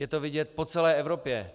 Je to vidět po celé Evropě.